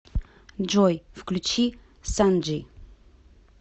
джой включи санджи